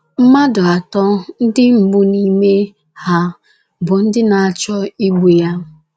Mmadụ atọ ndị mbụ n’ime ha bụ ndị na - achọ igbu ya.